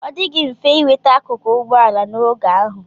Ọ dịghị mfe inweta akụkụ ụgbọ ala n'oge ahụ.